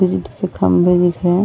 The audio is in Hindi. ईंट के खम्भे दिख रहे हैं।